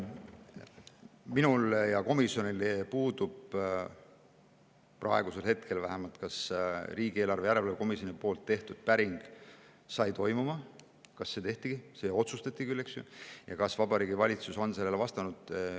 Minul ja komisjonil puudub, praegusel hetkel vähemalt, kas riigieelarve komisjoni päring toimus, kas see tehti – see otsustati küll, eks ju – ja kas Vabariigi Valitsus on sellele vastanud.